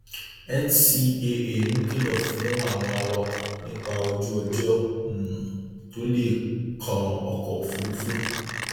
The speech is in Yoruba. ncaa ń kìlọ fún àwọn awakọ nípa ojúọjọ um tó le kan ọkọ òfúrufú